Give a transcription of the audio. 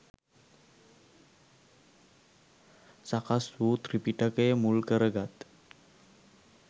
සකස් වූ ත්‍රිපිටකය මුල්කරගත්